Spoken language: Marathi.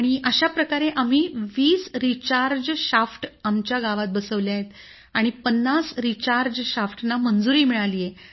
अशाप्रकारे आम्ही 20 रिचार्ज शाफ्ट आमच्या गावात बसवले आहेत आणि 50 रिचार्ज शाफ्टना मंजुरी मिळाली आहे